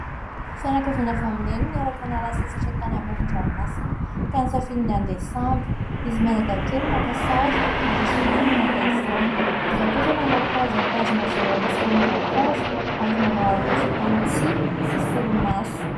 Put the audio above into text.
Fianakaviana avy amin' i Neny niaraka niala sasatra tany amoron-dranomasina ka nisafidy ny andeha sambo izy mianadahy kely maka sary ary ny zokony naka izany. Izaho kosa manao paozy mitazona vera misy ranom-boankazo ary manao aroloha vita amin' ny tsihy sy solomaso.